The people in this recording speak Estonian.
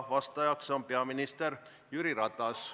Vastaja on peaminister Jüri Ratas.